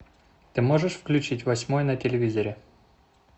ты можешь включить восьмой на телевизоре